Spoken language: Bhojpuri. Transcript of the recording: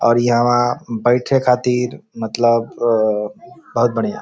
और यहां बैठे खातिर मतलब बहुत बढ़िया ।